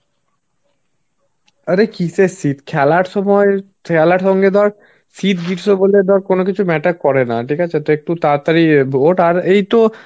আরে কিসের শীত? খেলার সময় খেলার সঙ্গে ধর শীত, গ্রীষ্ম বলে তো আর কোন কিছু matter করে না. ঠিক আছে. তো একটু তাড়াতাড়ি ওঠ. আর এই তো